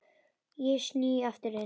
Ég sný aftur inn.